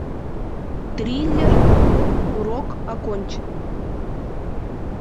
триллер урок окончен